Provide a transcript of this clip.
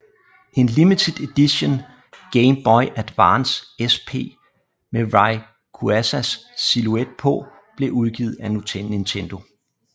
En limited edition Game Boy Advance SP med Rayquazas silhouet på blev udgivet af Nintendo